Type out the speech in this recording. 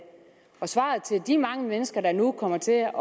og svaret til de mange mennesker der nu kommer til at